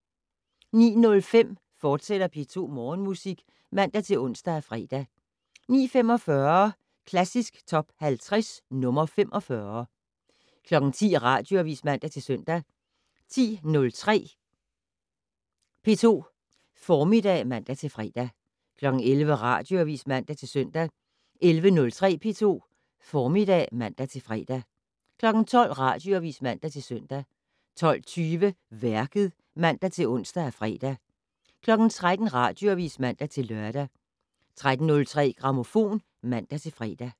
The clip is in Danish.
09:05: P2 Morgenmusik, fortsat (man-ons og fre) 09:45: Klassisk Top 50 - nr. 45 10:00: Radioavis (man-søn) 10:03: P2 Formiddag (man-fre) 11:00: Radioavis (man-søn) 11:03: P2 Formiddag (man-fre) 12:00: Radioavis (man-søn) 12:20: Værket (man-ons og fre) 13:00: Radioavis (man-lør) 13:03: Grammofon (man-fre)